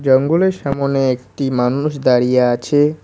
জঙ্গলের সামোনে একটি মানুষ দাঁড়িয়ে আছে।